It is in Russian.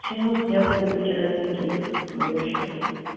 почему сняты были вчера деньги с моего счета